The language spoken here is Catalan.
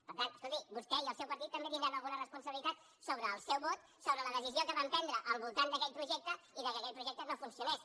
per tant escolti vostè i el seu partit també deu tenir alguna responsabilitat sobre el seu vot sobre la decisió que van prendre al voltant d’aquell projecte i que aquell projecte no funcionés